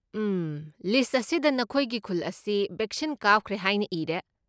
ꯎꯝ, list ꯑꯁꯤꯗ ꯅꯈꯣꯏꯒꯤ ꯈꯨꯜ ꯑꯁꯤ ꯕꯦꯛꯁꯤꯟ ꯀꯥꯞꯈ꯭ꯔꯦ ꯍꯥꯏꯅ ꯏꯔꯦ꯫